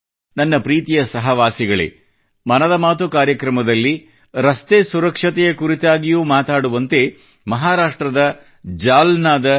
ನನ್ನ ಪ್ರೀತಿಯ ಸಹವಾಸಿಗಳೇ ಮನದ ಮಾತುʼ ಕಾರ್ಯಕ್ರಮದಲ್ಲಿ ರಸ್ತೆ ಸುರಕ್ಷತೆಯ ಕುರಿತಾಗಿಯೂ ಮಾತಾಡುವಂತೆ ಮಹಾರಾಷ್ಟ್ರದ ಜಾಲ್ನಾದ ಡಾ